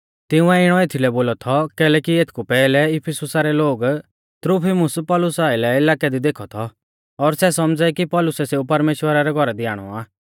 तिंउऐ इणौ एथीलै बोलौ थौ कैलैकि एथकु पैहलै इफिसुसा रै लोग त्रुफिमुस पौलुसा आइलै इलाकै दी देखौ थौ और सै सौमझ़ै कि पौलुसै सेऊ परमेश्‍वरा रै घौरा दी आणौ आ